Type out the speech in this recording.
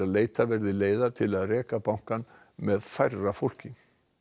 leita verði leiða til að reka bankann með færra fólki